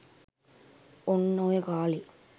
ඔන්න ඔය කාලේ